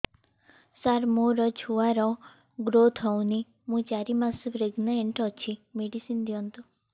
ସାର ମୋର ଛୁଆ ର ଗ୍ରୋଥ ହଉନି ମୁ ଚାରି ମାସ ପ୍ରେଗନାଂଟ ଅଛି ମେଡିସିନ ଦିଅନ୍ତୁ